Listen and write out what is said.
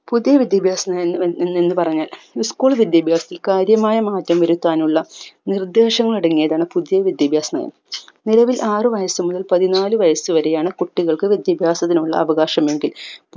പുതിയ വിദ്യാഭ്യാസ നയം എന്ന് എന്നു പറഞ്ഞാൽ school വിദ്യാഭ്യാസം കാര്യമായമാറ്റം വരുത്താനുള്ള നിർദേശങ്ങൾ അടങ്ങിയതാണ് പുതിയ വിദ്യാഭ്യാസം നിലവിൽ ആറു വയസു മുതൽ പതിനാലു വയസ്സു വരെയാണ് കുട്ടികൾക്ക് വിദ്യാഭ്യാസത്തിനുള്ള അവകാശം എങ്കിൽ